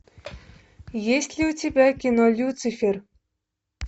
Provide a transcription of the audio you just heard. есть ли у тебя кино люцифер